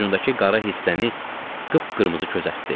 Ucudakı qara hissəni qıp-qırmızı közərtdi.